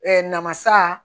namasa